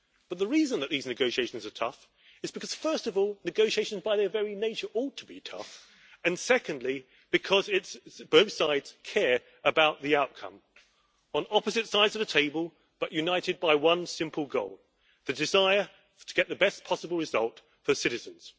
But the reason that these negotiations are tough is because first of all, negotiation by their very nature ought to be tough, and secondly, because both sides care about the outcome, on opposite sides of the table, but united by one simple goal the desire to get the best possible result for citizens.